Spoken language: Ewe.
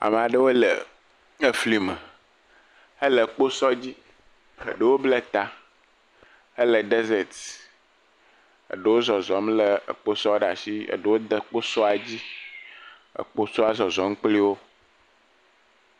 amaɖewo le eflime hele kpósɔ dzi eɖewo ble ta hele desert eɖewó zɔzɔm le kpósɔ ɖasi eɖewo de kpósɔ dzi ekposɔ zɔzɔm kpliwo